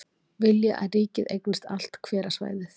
Vilja að ríkið eignist allt hverasvæðið